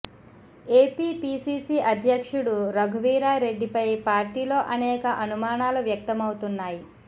AP PCC అధ్యక్షుడు రఘువీరా రెడ్డిపై పార్టీలో అనేక అనుమానాలు వ్యక్తమవుతున్నాయి